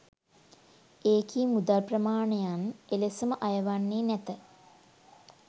එකී මුදල් ප්‍රමාණයන් එලෙසම අය වන්නේ නැත